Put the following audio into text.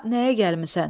Bura nəyə gəlmisən?